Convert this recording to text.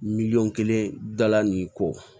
Miliyɔn kelen dala nin ko